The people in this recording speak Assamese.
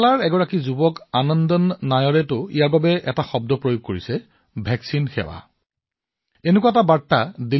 কেৰালাৰ এজন যুৱক আনন্দন নায়াৰে ইয়াক এটা নতুন শব্দৰে অভিহিত কৰিছে ভেকছিন সেৱা